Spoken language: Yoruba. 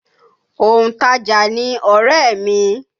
Òǹtajà ni ọ̀rẹ́ mi.